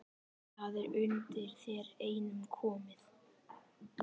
Það er undir þér einum komið